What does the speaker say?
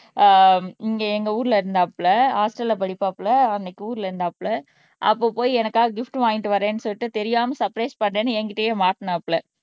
ஆஹ் இங்க எங்க ஊர்ல இருந்தாப்ல ஹாஸ்டல்ல படிப்பாப்புல அன்னைக்கு ஊர்ல இருந்தாப்ல அப்ப போய் எனக்காக கிபிட் வாங்கிட்டு வர்றேன்னு சொல்லிட்டு தெரியாம சர்ப்ரைஸ் பண்றேன்னு என்கிட்டயே மாட்டுனாப்புல